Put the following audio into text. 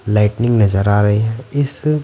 lightning नजर आ रही है इस--